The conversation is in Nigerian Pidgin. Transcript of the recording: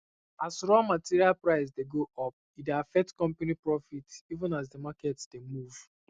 as raw material price dey go upe dey affect company profit even as the market dey move